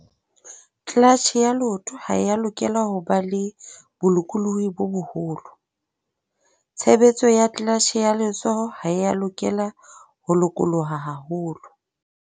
Clutch ya leoto ha e a lokela ho ba le bolokolohi bo boholo. Tshebetso ya clutch ya letsoho ha e a lokela ho lokoloha haholo.